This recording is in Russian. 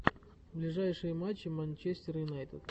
ближайшие матчи манчестер юнайтед